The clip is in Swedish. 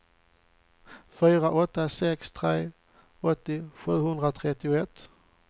fyra åtta sex tre åttio sjuhundratrettioett